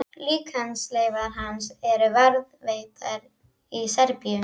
Líkamsleifar hans eru varðveittar í Serbíu.